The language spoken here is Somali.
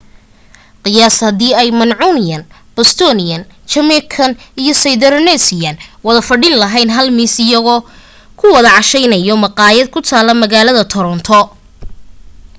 qiyaas hadii ay mancunian bostonian jamaican iyo sydneysider wada fadhin laheyn hal miis iyago ku wada casheynayo maqaayad ku tala magaalada toronto